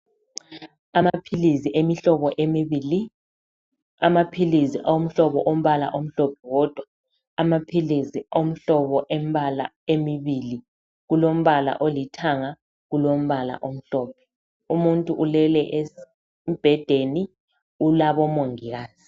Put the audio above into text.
Amaphizi emihlobo emibili , amaphilisi omhlobo omhlophe wodwa. Amaphilisi omhlobo embala emibili ,kulombala olithanga kulombala omhlophe .Umuntu ulele embhedeni ulabomongikazi.